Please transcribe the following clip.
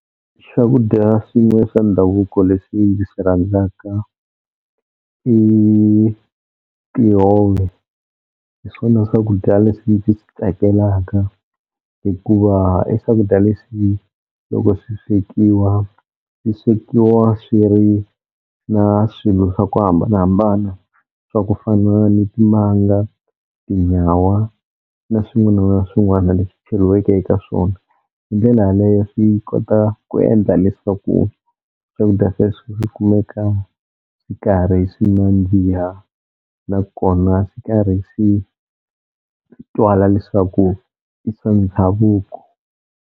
Swakudya swin'we swa ndhavuko leswi ndzi swi rhandzaka i tihove, hi swona swakudya leswi ndzi swi tsakelaka hikuva i swakudya leswi loko swi swekiwa swi swekiwa swi ri na swilo swa ku hambanahambana swa ku fana ni timanga, tinyawa, na swin'wana na swin'wana leswi cheliweke eka swona, hi ndlela yaleyo swi kota ku endla leswaku swakudya sweswo swi kumeka swi karhi swi nandziha nakona swi karhi swi twala leswaku i swa ndhavuko.